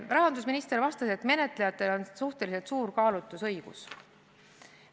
Rahandusminister vastas, et menetlejatel on suhteliselt suur kaalutlusõigus.